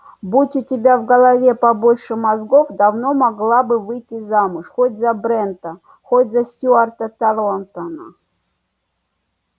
будь у тебя в голове побольше мозгов давно могла бы выйти замуж хоть за брента хоть за стюарта тарлтона